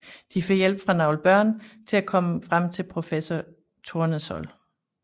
De får hjælp fra nogle børn til at komme frem til professor Tournesol